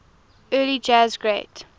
early jazz great